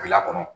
Bila kɔnɔ